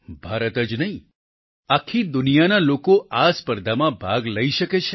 ભારત જ નહીં આખી દુનિયાના લોકો આ સ્પર્ધામાં ભાગ લઈ શકે છે